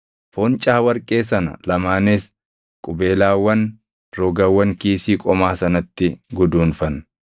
Foncaa warqee sana lamaanis qubeelaawwan rogawwan kiisii qomaa sanatti guduunfan.